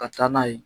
Ka taa n'a ye